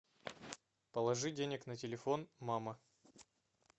положи денег на телефон мама